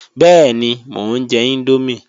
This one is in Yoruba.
Bẹ́ẹ̀ni, mò ń jẹ índómì